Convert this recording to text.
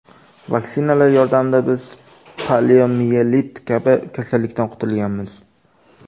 Vaksinalar yordamida biz poliomiyelit kabi kasallikdan qutulganmiz.